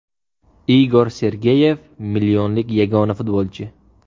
Igor Sergeyev millionlik yagona futbolchi.